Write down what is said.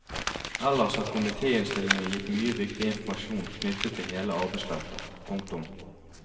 Ellers har komiteinnstillingen gitt mye viktig informasjon knyttet til hele arbeidsfeltet. punktum